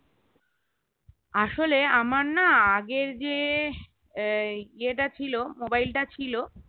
আসলে আমার না আগের যে এই ইয়ে টা ছিল mobile টা ছিল